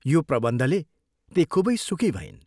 यो प्रबन्धले ती खूबै सुखी भइन्।